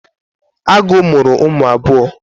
Agu muru umu abuo